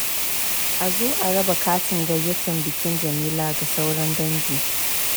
A zo araba katin gayyatar bikin Jamila ga sauran dangi.